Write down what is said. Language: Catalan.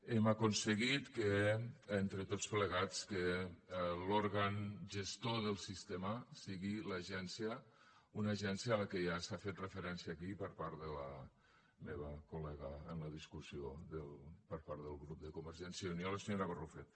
hem aconseguit entre tots plegats que l’òrgan gestor del sistema sigui l’agència una agència a la qual ja s’ha fet referència aquí per part de la meva coldiscussió per part del grup de convergència i unió la senyora barrufet